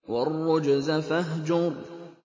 وَالرُّجْزَ فَاهْجُرْ